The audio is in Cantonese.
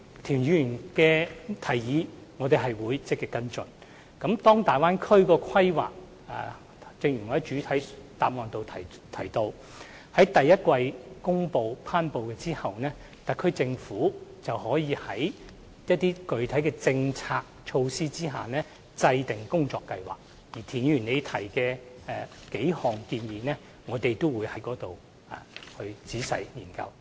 正如我在主體答覆中提到，當《規劃》於明年第一季頒布後，特區政府會就某些具體政策措施制訂工作計劃，而田議員提出的數項建議，我們屆時會仔細研究。